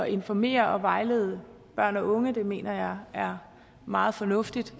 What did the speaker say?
informere og vejlede børn og unge det mener jeg er meget fornuftigt